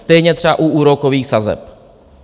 Stejně třeba u úrokových sazeb.